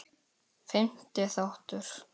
Fimmti þáttur